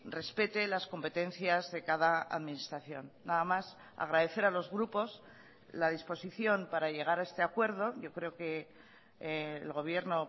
respete las competencias de cada administración nada más agradecer a los grupos la disposición para llegar a este acuerdo yo creo que el gobierno